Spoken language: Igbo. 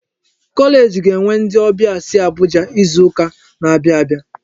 Kọleeji ga-enwe ndị ọbịa si Abuja n'izuka n'abia abịa.